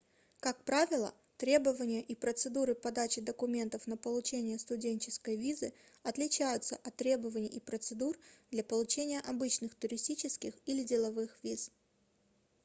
как правило требования и процедуры подачи документов на получение студенческой визы отличаются от требований и процедур для получения обычных туристических или деловых виз